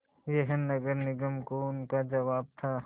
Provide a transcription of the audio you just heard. यह नगर निगम को उनका जवाब था